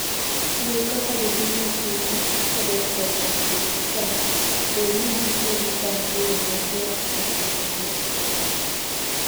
Luw kaka jopinyno timo kodok korka tiyo gi sa, bed ni gitiyo gi sa e yo machwok kata machwok.